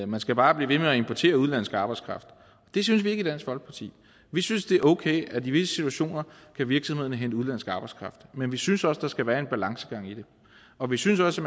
man skal bare blive ved med at importere udenlandsk arbejdskraft det synes vi ikke i dansk folkeparti vi synes det er okay at i visse situationer kan virksomhederne hente udenlandsk arbejdskraft men vi synes også der skal være en balance i det og vi synes også